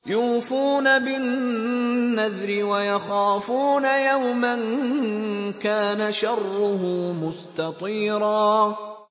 يُوفُونَ بِالنَّذْرِ وَيَخَافُونَ يَوْمًا كَانَ شَرُّهُ مُسْتَطِيرًا